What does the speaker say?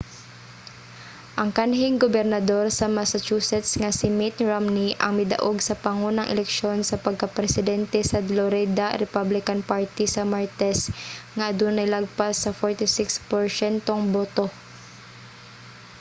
ang kanhing gobernador sa massachusetts nga si mitt romney ang midaog sa pangunang eleksyon sa pagka-presente sa dlorida republican party sa martes nga adunay lapas sa 46 porsyentong boto